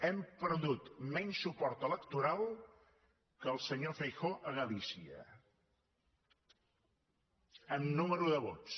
hem perdut menys suport electoral que el senyor feijóo a galícia en nombre de vots